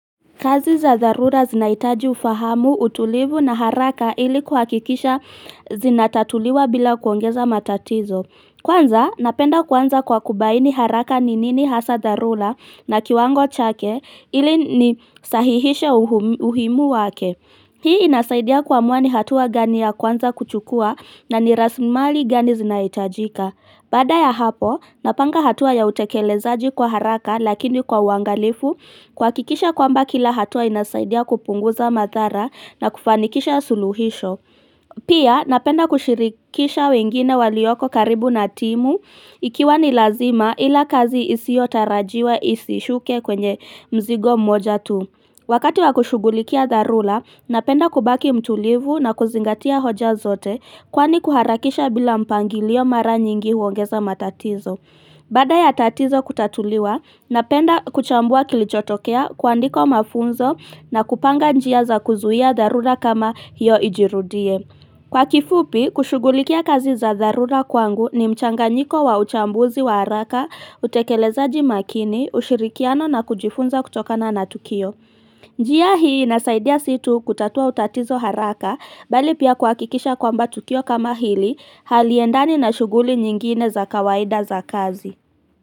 Kazi za dharura zinahitaji ufahamu, utulivu na haraka ili kuhakikisha zinatatuliwa bila kuongeza matatizo. Kwanza, napenda kuanza kwa kubaini haraka ni nini hasaa dharura na kiwango chake ili nisahihishe umuhimu wake. Hii inasaidia kuamua ni hatua gani ya kwanza kuchukua na ni rasimali gani zinahitajika. Baada ya hapo, napanga hatua ya utekelezaji kwa haraka lakini kwa uangalifu, kuhakikisha kwamba kila hatua inasaidia kupunguza madhara na kufanikisha suluhisho. Pia, napenda kushirikisha wengine walioko karibu na timu, ikiwa ni lazima ila kazi isiotarajiwa isishuke kwenye mzigo mmoja tu. Wakati wa kushughulikia dharura, napenda kubaki mtulivu na kuzingatia hoja zote kwani kuharakisha bila mpangilio mara nyingi huongeza matatizo. Baada ya tatizo kutatuliwa, napenda kuchambua kilichotokea, kuandika mafunzo na kupanga njia za kuzuia dharura kama hiyo ijirudie. Kwa kifupi, kushughulikia kazi za darura kwangu, ni mchanganyiko wa uchambuzi wa haraka, utekelezaji makini, ushirikiano na kujifunza kutoka na tukio. Njia hii inasaidia sio tu kutatua utatizo haraka, bali pia kuhakikisha kwamba tukio kama hili haliendani na shughuli nyingine za kawaida za kazi.